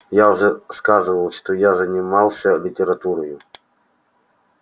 я уже сказывал что я занимался литературою